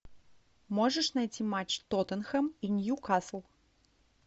можешь найти матч тоттенхэм и ньюкасл